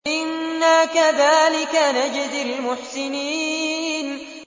إِنَّا كَذَٰلِكَ نَجْزِي الْمُحْسِنِينَ